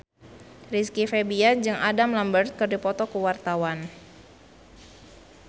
Rizky Febian jeung Adam Lambert keur dipoto ku wartawan